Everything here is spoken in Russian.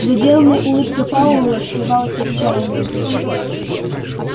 за деланной улыбкой пауэлла скрывалось отчаяние